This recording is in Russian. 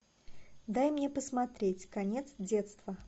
дай мне посмотреть конец детства